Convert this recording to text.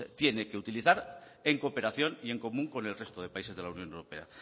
tiene que utilizar en cooperación y en común con el resto de países de la unión europea